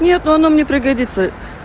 нет но оно мне пригодится